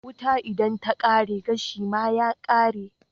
Wuta idan ta kare gashi ma ya kare